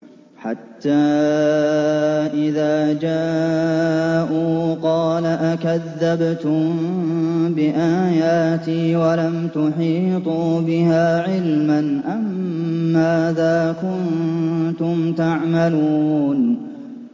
حَتَّىٰ إِذَا جَاءُوا قَالَ أَكَذَّبْتُم بِآيَاتِي وَلَمْ تُحِيطُوا بِهَا عِلْمًا أَمَّاذَا كُنتُمْ تَعْمَلُونَ